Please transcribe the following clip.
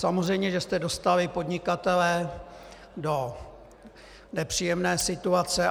Samozřejmě že jste dostali podnikatele do nepříjemné situace.